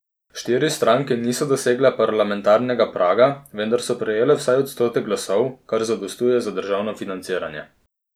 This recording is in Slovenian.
Štiri stranke niso dosegle parlamentarnega praga, vendar so prejele vsaj odstotek glasov, kar zadostuje za državno financiranje.